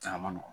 Caman nɔgɔn